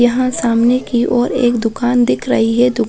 यहाँ सामने की और एक दुकान दिख रही है।